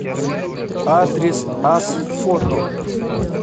адрес асфото